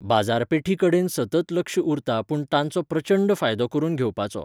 बाजारपेठी कडेन सतत लक्ष उरता पूण तांचो प्रचंड फायदो करून घेवपाचो